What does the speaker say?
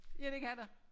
Ja det kan der